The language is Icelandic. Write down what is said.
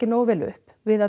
nógu vel upp við að